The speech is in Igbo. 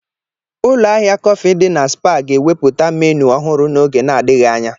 Ụlọ ahịa kọfị dị na Spar ga-ewepụta menu ọhụrụ n'oge na-adịghị anya.